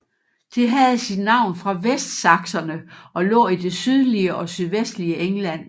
Det havde sit navn fra vestsakserne og lå i det sydlige og sydvestlige England